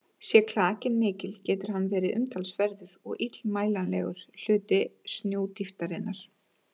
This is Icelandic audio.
Sé klakinn mikill getur hann verið umtalsverður og illmælanlegur hluti snjódýptarinnar.